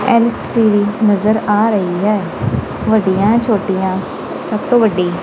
LCD ਨਜ਼ਰ ਆ ਰਹੀ ਹੈ ਵੱਡੀਆਂ ਛੋਟੀਆਂ ਸਭ ਤੋਂ ਵੱਡੀ।